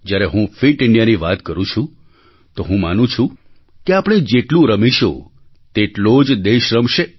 જ્યારે હું ફિટ Indiaની વાત કરું છું તો હું માનું છું કે આપણે જેટલું રમીશું તેટલો જ દેશ રમશે